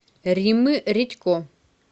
риммы редько